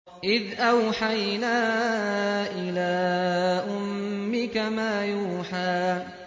إِذْ أَوْحَيْنَا إِلَىٰ أُمِّكَ مَا يُوحَىٰ